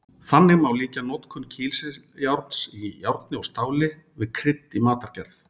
Þannig má líkja notkun kísiljárns í járni og stáli við krydd í matargerð.